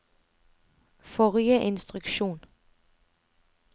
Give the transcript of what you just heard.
forrige instruksjon